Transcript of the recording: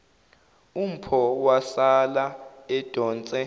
umpho wasala edonse